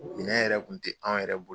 Minɛn yɛrɛ kun tɛ anw yɛrɛ bolo.